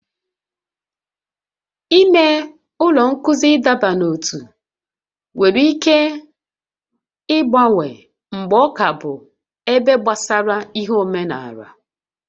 Ime ụlọ nkụzi ịdọba n'ótú nwere ike ịgbanwe mgbe ọ ka bụ ebe gbasara ihe omenala